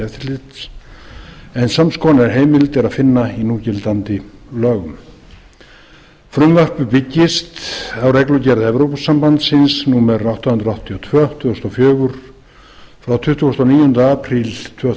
eftirlits en sams konar heimild er að finna í núgildandi lögum frumvarpið byggist á reglugerð evrópusambandsins númer átta hundruð áttatíu og tvö tvö þúsund og fjögur frá tuttugasta og níunda apríl tvö